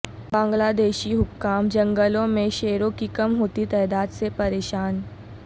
بنگلہ دیشی حکام جنگلوں میں شیروں کی کم ہوتی تعداد سے پریشان